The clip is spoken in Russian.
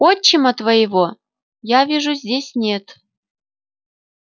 отчима твоего я вижу здесь нет